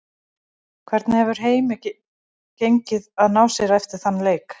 Hvernig hefur heimi gengið að ná sér eftir þann leik?